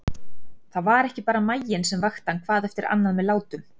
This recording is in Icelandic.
Það var ekki bara maginn sem vakti hann hvað eftir annað með látum.